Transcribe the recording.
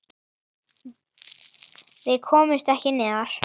Við komumst ekki neðar.